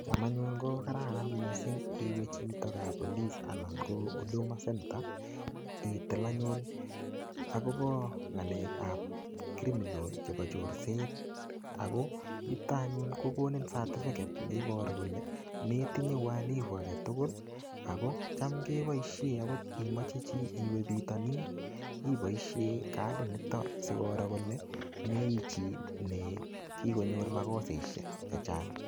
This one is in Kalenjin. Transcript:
Cham anyun ko kararan missing iwe chito kapolis anan ko Huduma Center, itil anyun akobo ng'alekap criminal chebo chorset. Ako yutok anyun, kokonin certificate ne iboru kole metinye uhalifu age tugul, akocham keboisie agot imeche chii iwe bitonin, iboisie kadit niton sikoro kole meichi ne kikonyor makoseshek chechang.